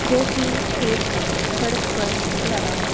जो की एक सड़क पर लगा है।